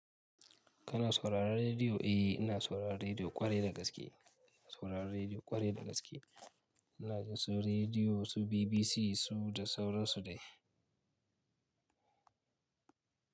Kana sauraron rediyo? Eh, ina sauraron rediyo kwarai da gaske. Ina sauraron rediyo kwarai da gaske. Ina jin su rediyo su BBC su da sauran su dai.